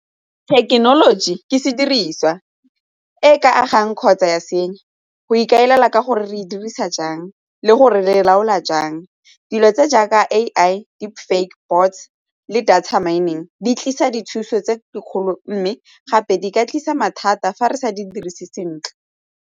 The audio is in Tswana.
Thekenoloji ke se diriswa e ka agang kgotsa ya senya go ikaelela ka gore re dirisa jang le gore le laola jang dilo tse jaaka A_I, di-fake bots le data mining di tlisa dithuso tse dikgolo mme gape di ka tlisa mathata fa re sa di dirise sentle.